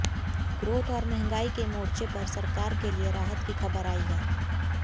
growth और महंगाई के मोर्चे पर सरकार के लिए राहत की खबर आई है